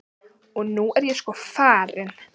Og nú er ég sko farin.